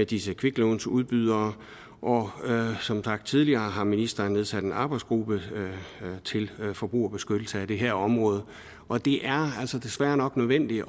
disse kviklånsudbydere og som sagt tidligere har ministeren nedsat en arbejdsgruppe til forbrugerbeskyttelse af det her område og det er altså desværre nok nødvendigt